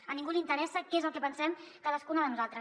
a ningú li interessa què és el que pensem cadascuna de nosaltres